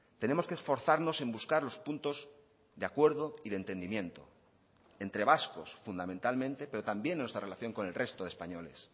tenemos que esforzarnos en buscar los puntos de acuerdo y de entendimiento entre vascos fundamentalmente pero también nuestra relación con el resto de españoles